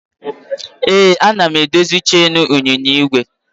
Ee, ana m edozi cheenu ịnyịnya igwe